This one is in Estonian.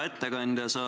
Hea ettekandja!